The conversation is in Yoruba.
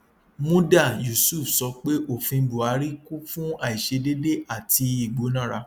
muda yusuf sọ pé òfin buhari kún fún àìṣedéédé àti ìgbónára